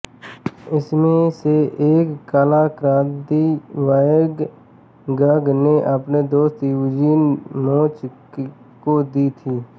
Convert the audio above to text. इनमें से एक कलाकृति वैन गॉग ने अपने दोस्त यूजीन बोच को दी थी